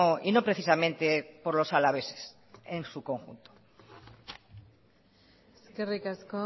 y no precisamente por los alaveses en su conjunto eskerrik asko